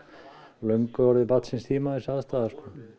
löngu orðið barn síns tíma þessi aðstaða